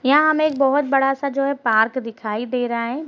यहां हमें एक बहुत बड़ा सा जो है पार्क दिखाई दे रहा है।